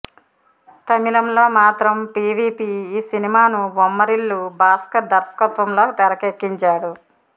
తమిళంలో మాత్రం పీవీపీ ఈ సినిమాను బొమ్మరిల్లు భాస్కర్ దర్శకత్వంలో తెరకెక్కించాడు